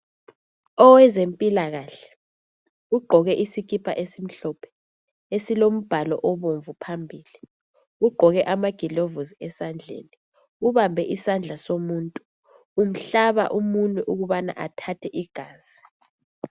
Owezempilakahke ugqoke isikipa esimhlophe esilombhalo obomvu phambili ugqoke amagilovisi ezandleni ubambe isandla somuntu umhlaba umunwe ukubana athathe igazi.